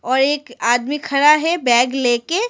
और एक आदमी खड़ा है बैग लेके।